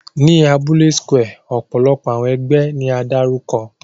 Ni abule square, ọpọlọpọ awọn ẹgbẹ ni a darukọ.